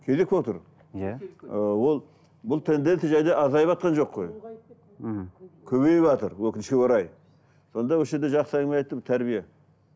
кезек болып тұр иә ыыы ол бұл тенденция және азайыватқан жоқ қой мхм көбейіватыр өкінішке орай сонда осы жерде жақсы әңгіме айтты тәрбие